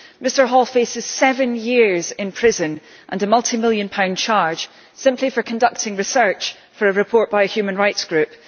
Mr Hall faces seven years in prison and a multi million pound fine simply for conducting research for a report by a human rights group.